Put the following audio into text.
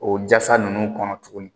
O jasa ninnu kɔnɔ tuguni.